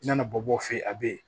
Nana bɔ o fɛ yen a bɛ yen